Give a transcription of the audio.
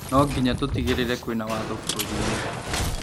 Nonginya tutigĩrĩre kwĩna watho bũrũri-inĩ